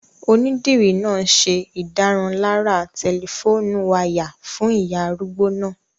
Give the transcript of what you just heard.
Onídìrí náà n ṣe ìdárunlárà tẹlifóònù wáyà fún ìyá arúgbó náà